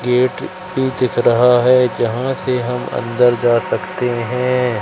Gate भी दिख रहा है जहां से हम अंदर जा सकते हैं।